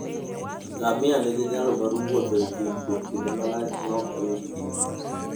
Ngamia nigi nyalo mar wuotho e thim kuom kinde malach maok oyud pi.